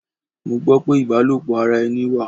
Mo gbó pé ibalopo ara ẹni wà.